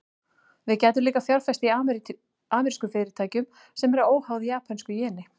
Við gætum líka fjárfest í amerískum fyrirtækjum, sem eru óháð japönsku jeni.